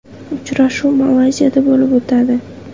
Uchrashuv Malayziyada bo‘lib o‘tadi.